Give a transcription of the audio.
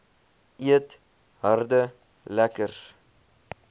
eet harde lekkers